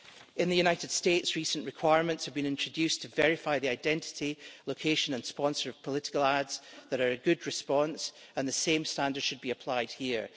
In the United States, recent requirements have been introduced to verify the identity, location and sponsor of political ads that are a good response, and the same standards should be applied here.